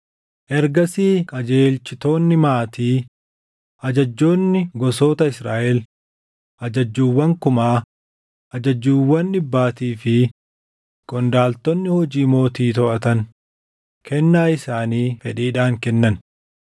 Ergasii qajeelchitoonni maatii, ajajjoonni gosoota Israaʼel, ajajjuuwwan kumaa, ajajjuuwwan dhibbaatii fi qondaaltonni hojii mootii toʼatan kennaa isaanii fedhiidhaan kennan.